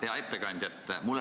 Hea ettekandja!